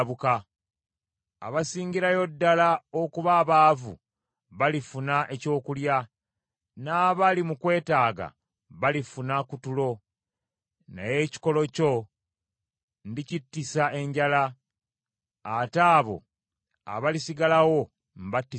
Abasingirayo ddala okuba abaavu balifuna ekyokulya, n’abali mu kwetaaga balifuna ku tulo naye ekikolo kyo ndikittisa enjala ate abo abalisigalawo mbattise ekitala.